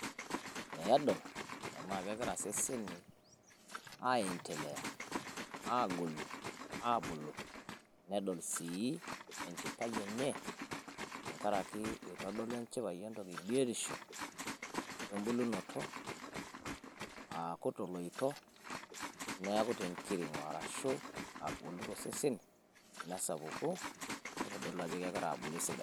peedool enaa kegiraa seseni aiendelea agolu abulu nedol sii enchipai enye tenkaraki kitodolu enchipai biotisho wembulunoto akuu toloito neaku tenkiring'o arashu agolu tosesen nitodolu ajoo kegiraa abulu esidai